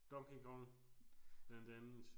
Donkey Kong blandt andet